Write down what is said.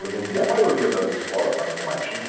Hoje em dia a maioria das escolas saem com marchinha.